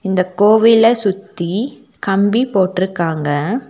இந்த கோவில சுத்தி கம்பி போட்ருக்காங்க.